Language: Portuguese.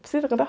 Precisa cantar?